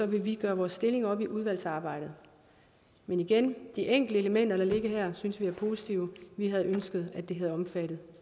vi gøre vores stilling op i udvalgsarbejdet men igen de enkelte elementer der ligger her synes vi er positive vi havde ønsket at det havde omfattet